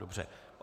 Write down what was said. Dobře.